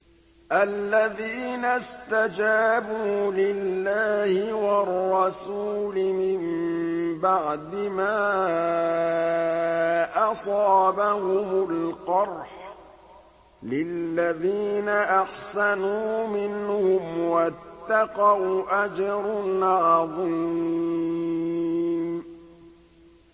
الَّذِينَ اسْتَجَابُوا لِلَّهِ وَالرَّسُولِ مِن بَعْدِ مَا أَصَابَهُمُ الْقَرْحُ ۚ لِلَّذِينَ أَحْسَنُوا مِنْهُمْ وَاتَّقَوْا أَجْرٌ عَظِيمٌ